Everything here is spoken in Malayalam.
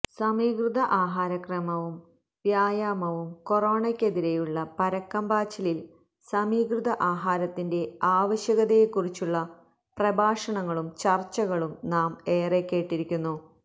സമീകൃത ആഹാരക്രമവും വ്യായാമവും കൊറോണയ്ക്കെതിരെയുള്ള പരക്കം പാച്ചിലില് സമീകൃത ആഹാരത്തിന്റെ ആവശ്യകതയെക്കുറിച്ചുള്ള പ്രഭാഷണങ്ങളും ചര്ച്ചകളും നാം ഏറെ കേട്ടിരിക്കുന്നു